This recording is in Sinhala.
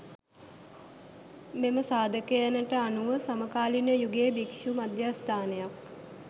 මෙම සාධකයනට අනුව සමකාලීන යුගයේ භික්ෂු මධස්ථානයක්